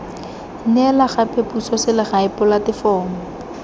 neela gape puso selegae polatefomo